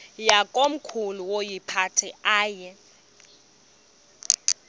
yakomkhulu woyiphatha aye